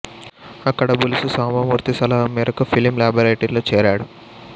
అక్కడ బులుసు సాంబమూర్తి సలహా మేరకు ఫిలిం లేబరేటరీలో చేరాడు